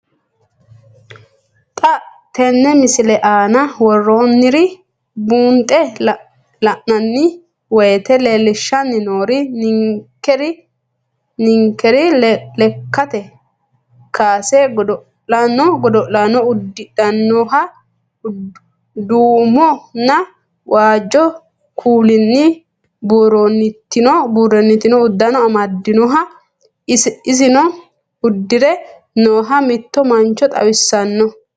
Xa tenne missile aana worroonniri buunxe la'nanni woyiite leellishshanni noori ninkera lekkate kaase godo'laano uddidhannoha duumonna waajju kuulinni buurantino uddano amadinoha isino uddire nooha mitto mancho xawissanno.